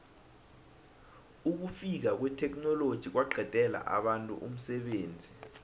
ukufika kwetheknoloji kwaqedela abantu umsebenzi